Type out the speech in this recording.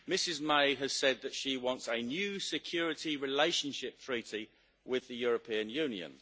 Ms May has said that she wants a new security relationship treaty with the European Union.